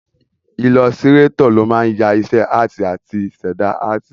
Ilọsirátọ̀ ló máa ń ya iṣẹ́ áàtì àti ṣẹ̀dá áàtì